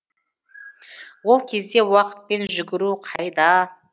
ол кезде уақытпен жүгіру қайда